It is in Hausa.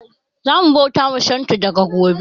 Zamu bauta ma Shinto daga gobe